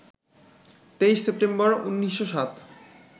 ২৩ September, ১৯০৭